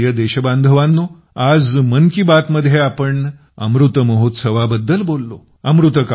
माझ्या प्रिय देशबांधवांनो आज मनकीबात मध्ये आपण अमृत महोत्सवा बद्दल बोललो